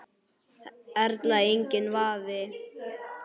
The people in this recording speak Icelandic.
Erla: Enginn vafi?